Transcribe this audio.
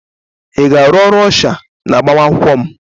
Ị ga-arụ ọrụ ọsha n'agbamakwụkwọ m?